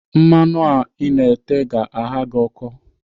Mmanụ a Ị na-ete ga-agha gị ọkọ.